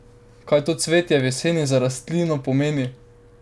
Kaj to cvetje v jeseni za rastlino pomeni?